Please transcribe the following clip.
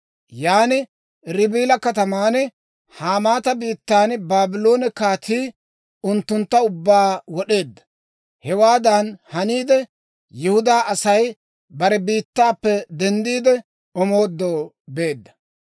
Yaan Ribila kataman, Hamaata biittan Baabloone kaatii unttuntta ubbaa wod'eedda. Hewaadan haniide, Yihudaa Asay bare biittaappe denddiide, omoodoo beedda.